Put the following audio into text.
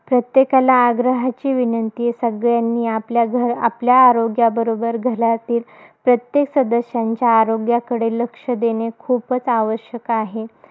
प्रत्येकाला आग्रहाची विनंती आहे. सगळ्यांनी आपल्या घरआपल्या आरोग्याबरोबर, घरातील प्रत्येक सदस्यांच्या आरोग्याकडे लक्ष देणे खूपच आवश्यक आहे.